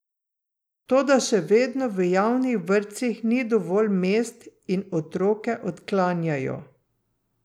Toda še vedno v javnih vrtcih ni dovolj mest in otroke odklanjajo.